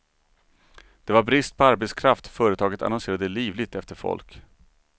Det var brist på arbetskraft, företaget annonserade livligt efter folk.